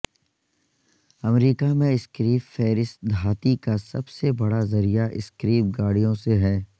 امریکہ میں scrap ferrous دھاتی کا سب سے بڑا ذریعہ سکریپ گاڑیوں سے ہے